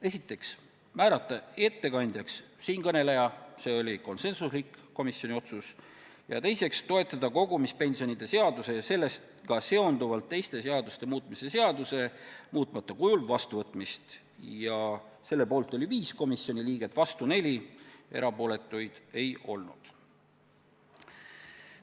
Esiteks, määrata ettekandjaks siinkõneleja – see oli konsensuslik komisjoni otsus – ja teiseks, toetada kogumispensionide seaduse ja sellega seonduvalt teiste seaduste muutmise seaduse muutmata kujul vastuvõtmist – selle poolt oli 5 komisjoni liiget ja vastu 4 ning erapooletuid ei olnud.